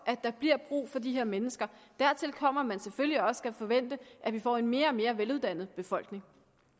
at der bliver brug for de her mennesker dertil kommer at man selvfølgelig også skal forvente at vi får en mere og mere veluddannet befolkning